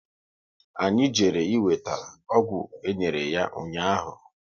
Anyị jere e weta ọgwụ enyere ya ụnyaahụ